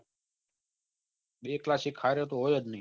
બે class એક હરે તો હોય જ ની